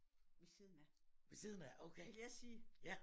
Ved siden af ville jeg sige